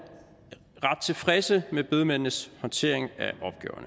ret tilfredse med bedemændenes håndtering